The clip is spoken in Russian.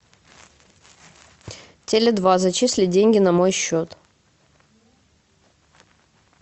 теле два зачислить деньги на мой счет